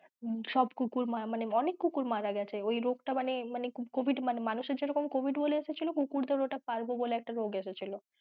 ওইসব কুকুর মানে অনেক কুকুর মারা গেছে ওই রোগটা মানে, মানে covid যেরকম মানুষের যেরকম covid বলে এসেছিলো কুকুর দের জেরকম ওটা parbo বলে একটা রোগ এসেছিলো।